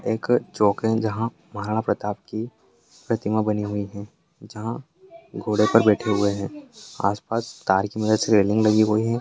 एक चोक है यहाँ जहाँ महाराणा प्रताप की प्रतिमा बनी हुई है जहाँ घोड़े पर बैठे हुए है आसपास तार की मदद से रेलिंग लगी हुई हैं।